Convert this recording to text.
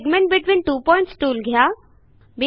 segment between two points tool घ्या